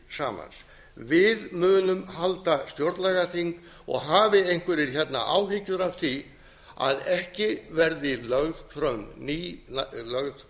samans við munum halda stjórnlagaþing og hafi einhverjir hérna áhyggjur af því að ekki verði lög fram ný lög